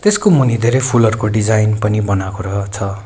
त्यसको मुनि धेरै फूलहरूको डिजाइन पनि बनाएको रह छ।